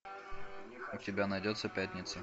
у тебя найдется пятница